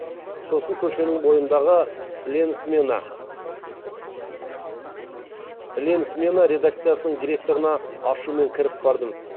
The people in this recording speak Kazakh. сосын көшенің бойындағы ленсмена редакциясының директорына ашумен кіріп бардым